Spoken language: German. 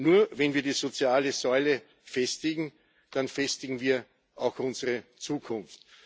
Nur wenn wir die soziale Säule festigen, dann festigen wir auch unsere Zukunft.